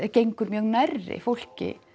gengur mjög nærri fólki